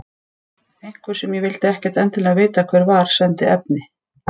Einhver, sem ég vildi ekkert endilega vita hver var, sendi efni.